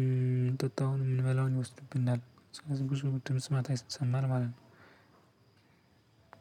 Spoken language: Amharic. እምንጠጣው እንበላው ይወስድብናል ስለዚህ ጉዞ ድምጽ ማታ ይሰማል ማለት ነው።